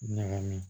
Ɲagami